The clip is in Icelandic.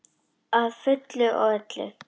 Að fullu og öllu.